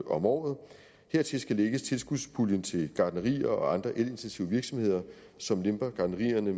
om året hertil skal lægges tilskudspuljen til gartnerier og andre elintensive virksomheder som giver gartnerierne